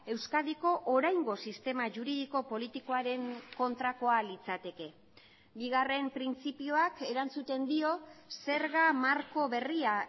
euskadiko oraingo sistema juridiko politikoaren kontrakoa litzateke bigarren printzipioak erantzuten dio zerga marko berria